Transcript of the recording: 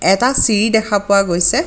এটা চিৰি দেখা পোৱা গৈছে।